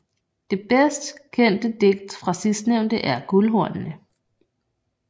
Det bedst kendte digt fra sidstnævnte er Guldhornene